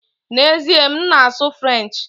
N'ezie, m na-asụ French